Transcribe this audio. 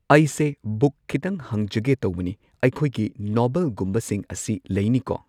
ꯑꯩꯁꯦ ꯕꯨꯛ ꯈꯤꯇꯪ ꯍꯪꯖꯒꯦ ꯇꯧꯕꯅꯤ ꯑꯩꯈꯣꯏꯒꯤ ꯅꯣꯕꯦꯜꯒꯨꯝꯕꯁꯤꯡ ꯑꯁꯤ ꯂꯩꯅꯤꯀꯣ